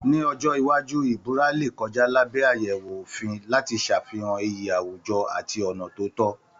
Ní ọjọ́ iwájú ìbúra lè kọjá lábẹ́ àyẹ̀wò òfin láti ṣàfihàn iyì àwùjọ àti ọ̀nà tó tọ́